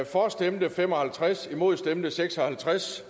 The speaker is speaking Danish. for stemte fem og halvtreds imod stemte seks og halvtreds